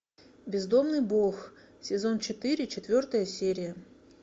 бездомный бог сезон четыре четвертая серия